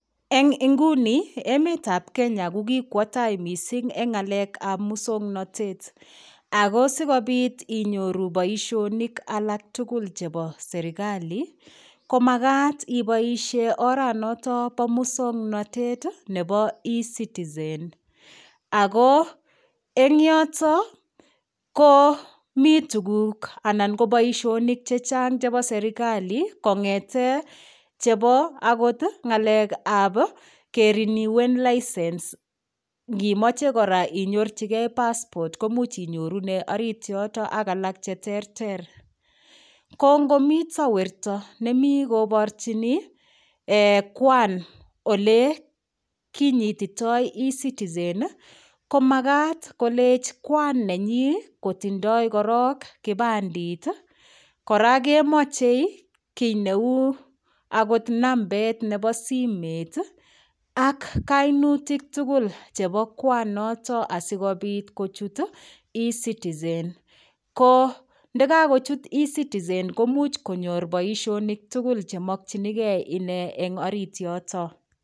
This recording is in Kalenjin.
Eng' nguni emetab Kenya kokikwo tai mising' eng' ng'alekab muswong'natet ako sikobit inyoru boishonik alak tugul chebo serikali komakat iboishe oranoto bo muswong'notet nebo ecitizen ako eng' yoto ko mii tukuk anan ko boishonik chechang' chebo serikali kong'ete chebo akot ng'alekab keriniwen licence ngimoche kora inyorchigei passport ko muuch inyorune orit yoto ak alak cheterter ko ngomito werto nemi koborchini Kwan ole kinyititoi ecitizen ko makat kolech kwan nenyi kotindoi korok kipandit kora kemochei kii neu akot nambet nebo simet ak kainutik tugul chebo Kwan notok asikobit kochut ecitizen ko ndikakochut ecitizen ko muuch konyor boishonik tugul chemokchinigei ine eng' orit yoto